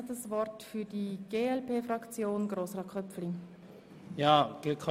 Nun hat Grossrat Köpfli für die glp-Fraktion das Wort.